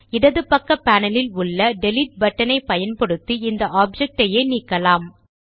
இடது பக்க பானலில் உள்ள டெலீட் பட்டனை பயன்படுத்தி இந்த ஆப்ஜெக்ட் ஐயே நீக்கலாம்